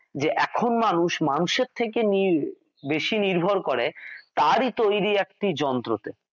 যে এখন মানুষ মানুষের থেকে বেশী নির্ভর করে তারই তৈরী একটি যন্ত্র তে